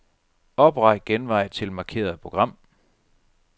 Opret genvej til markerede program.